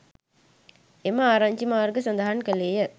එම ආරංචි මාර්ග සඳහන් කළේය